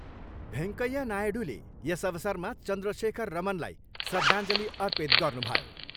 भेङ्कैया नायडूले यस अवसरमा चन्द्रशेखर रमनलाई श्रद्धाञ्जली अर्पित गर्नुभयो।